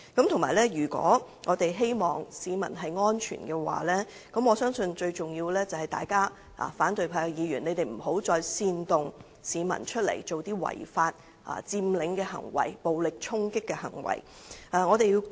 同時，如果我們希望市民安全，我相信最重要的是，反對派議員不要再煽動市民做違法佔領、暴力衝擊警方的行為。